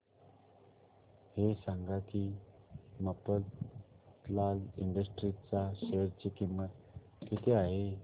हे सांगा की मफतलाल इंडस्ट्रीज च्या शेअर ची किंमत किती आहे